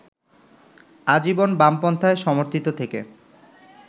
আজীবন বামপন্থায় সমর্থিত থেকে